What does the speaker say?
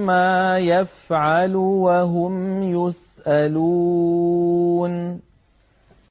عَمَّا يَفْعَلُ وَهُمْ يُسْأَلُونَ